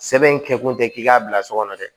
Sɛbɛn in kɛkun tɛ k'i k'a bila so kɔnɔ dɛ